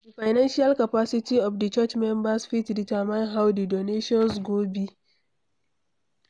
Di financial capacity of di church members fit determine how di donations go be